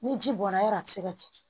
Ni ji bɔra yɔrɔ yɔrɔ a ti se ka kɛ